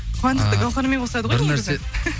қуандықты гауһармен қосады ғой